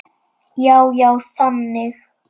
Já, já, þannig.